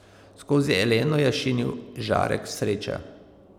Skozi Eleno je šinil žarek sreče.